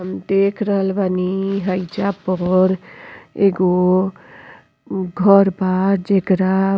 हम देख रहल बानी हइजा पर एगो घर बा जेकरा --